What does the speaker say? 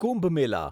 Kumbh Mela